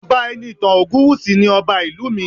Ọba Enitan Ogunwusi ni Ọba ìlú mi